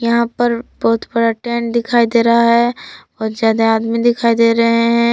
यहां पर बहुत बड़ा टेंट दिखाई दे रहा है और ज्यादा आदमी दिखाई दे रहे हैं।